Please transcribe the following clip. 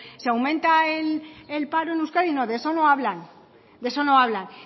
si aumenta el paro en euskadi no de eso no hablan de eso no hablan